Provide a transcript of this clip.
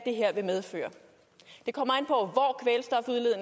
her vil medføre det kommer